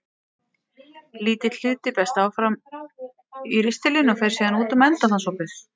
Lítill hluti berst áfram í ristilinn og fer síðan út um endaþarmsopið.